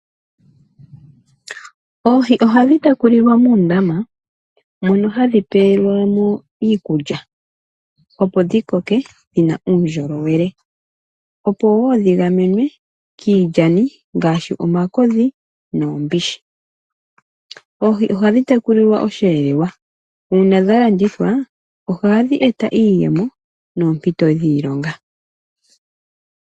Oohi ohadhi tekulilwa muundama, moka omo wo hadhi pewelwa iikulya, opo dhi koke dhi na uundjolowele, dho dhi kale wo dha gamenwa kiilyani ngaashi omakodhi nuumbishi. Oohi ohadhi tekulilwa osheelelwa. Uuna dha landithwa; ohadhi eta iiyemo noompito dhiilonga.